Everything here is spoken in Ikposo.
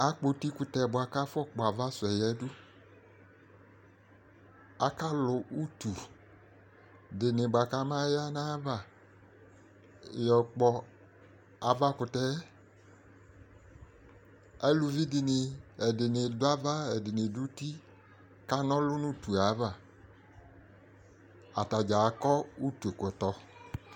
akpɔ uti kutɛ boa kò afɔ kpɔ ava suɛ yadu aka lò utu di ni boa kò aba ya no ava yɔ kpɔ ava kutɛ aluvi di ni ɛdini do ava ɛdini do uti ka n'ɔlu no utue ava atadza akɔ utu kɔtɔ